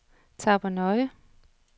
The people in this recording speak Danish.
Tappernøje